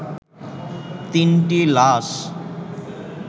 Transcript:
তিনটি লাশ